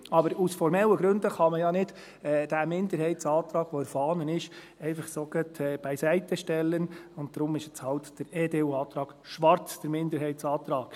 Aber aus formellen Gründen kann man ja nicht diesen Minderheitsantrag, der in der Fahne vorhanden ist, einfach so beiseitestellen, und darum ist jetzt halt der Antrag EDU/Schwarz der Minderheitsantrag.